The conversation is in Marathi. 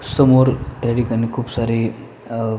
समोर या ठिकाणी खूप सारे अ--